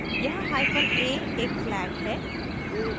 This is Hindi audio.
यहाँ hyphen a एक flag है